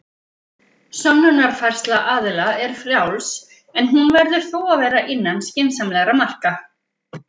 Sönnunarfærsla aðila er frjáls, en hún verður þó að vera innan skynsamlegra marka.